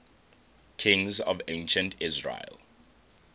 kings of ancient israel